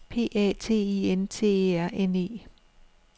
P A T I E N T E R N E